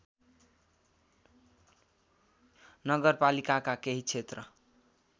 नगरपालिकाका केही क्षेत्र